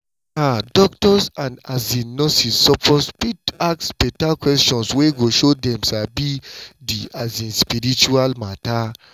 ah doctors and um nurses suppose fit ask beta questions wey go show dem sabi di um spirit matter.